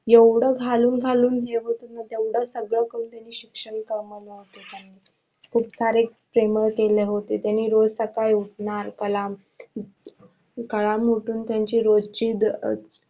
एवढ घालून घालून मिरवत होते खूप सारे प्रेमळ केले होते त्यांनी रोज सकाळी उठणार कलाम उठून त्यांची रोज ची